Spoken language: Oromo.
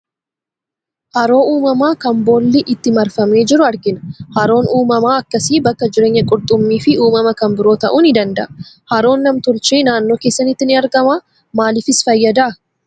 Haroo uumamaa kan boolli itti marfamee jiru argina. Haroon uumamaa akkasii bakka jireenya qurxummii fi uumama kan biroo ta'uu ni danda'a. Haroon nam tolchee naannoo keessanitti ni argamaa? Maaliifis fayyada?